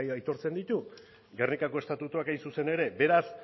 aitortzen ditu gernikako estatutuak hain zuzen ere beraz